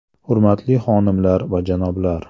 Hurmatli xonimlar va janoblar!